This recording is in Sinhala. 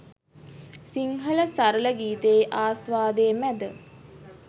සිංහල සරල ගීතයේ ආස්වාදය මැද